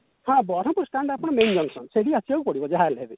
ହଁ ବରମ୍ପୁର stand ଆପଣ main junction ସେଇଠିକି ଆସିବାକୁ ପଡିବ ଯାହାହେଲେ ବି